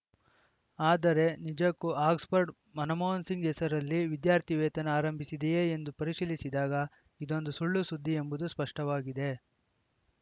ಆದರೆ ನಿಜಕ್ಕೂ ಆಕ್ಸ್‌ಫರ್ಡ್‌ ಮನಮೋಹನ್‌ ಸಿಂಗ್‌ ಹೆಸರಲ್ಲಿ ವಿದ್ಯಾರ್ಥಿವೇತನ ಆರಂಭಿಸಿದೆಯೇ ಎಂದು ಪರಿಶೀಲಿಸಿದಾಗ ಇದೊಂದು ಸುಳ್ಳುಸುದ್ದಿ ಎಂಬುದು ಸ್ಪಷ್ಟವಾಗಿದೆ